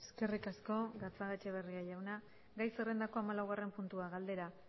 eskerrik asko gatzagaetxebarria jauna gai zerrendako hamalaugarren puntua galdera